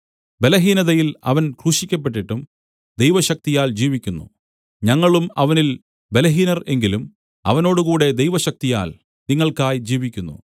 ബലഹീനതയിൽ അവൻ ക്രൂശിക്കപ്പെട്ടിട്ടും ദൈവശക്തിയാൽ ജീവിക്കുന്നു ഞങ്ങളും അവനിൽ ബലഹീനർ എങ്കിലും അവനോട് കൂടെ ദൈവശക്തിയാൽ നിങ്ങൾക്കായി ജീവിക്കുന്നു